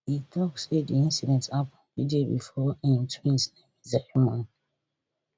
e tok say di incident happun di day before im twins naming ceremony